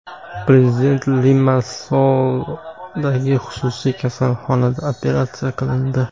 Prezident Limassoldagi xususiy kasalxonada operatsiya qilindi.